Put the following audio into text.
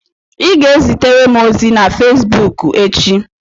Ị ga-ezitere m ozi na Fezbuuku echi.